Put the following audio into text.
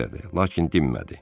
Lakin dinmədi.